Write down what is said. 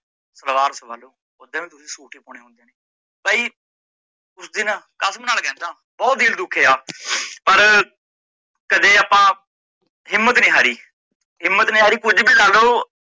ਸਲਵਾਰ ਸਵਾ ਲੋ, ਬਾਈ ਉਸ ਦਿਨ ਕਸਮ ਨਾਲ ਕਹਿੰਦਾ ਬਹੁਤ ਦਿਲ ਦੁਖੀਆ ਪਰ ਕਦੇ ਆਪ ਹਿਮੰਤ ਨੀ ਹਾਰੀ ਹਿਮੰਤ ਨੀ ਹਾਰੀ ਕੁਝ ਵੀ ਲਾਲੋ,